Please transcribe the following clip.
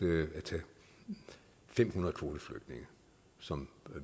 fem hundrede kvoteflygtninge som